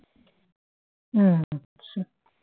হ্যাঁ আচ্ছা